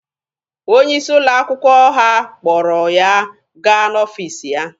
Onye isi ụlọ akwụkwọ ha kpọrọ ya gaa n'ọfiisi ya.